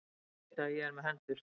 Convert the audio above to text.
Ég get ekki vitað að ég er með hendur.